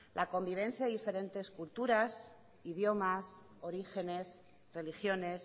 la convivencia de diferentes culturas idiomas orígenes religiones